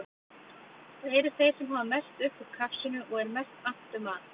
Það eru þeir sem hafa mest upp úr krafsinu og er mest annt um að